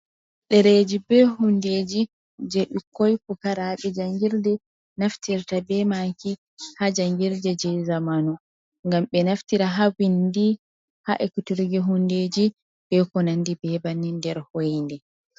Dereji be hundeji je bikkoi pukarabe jangirde naftirta be maki ha jangirde je zamanu. Ngam be naftira ha vindi, ha ekiturge hundeji, be konandi be banni nder hoyinde.